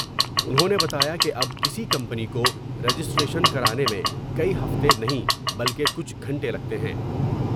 انہوں نے بتایا کہ اب کسی کمپنی کو رجسٹریشن کرانے میں کئی ہفتے نہیں بلکہ کچھ گھنٹے لگتے ہیں ۔